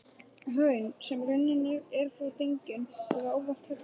Hraun, sem runnin eru frá dyngjum, eru ávallt helluhraun.